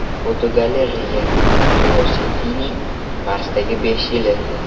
Fotogalereya: Curiosity’ning Marsdagi besh yili.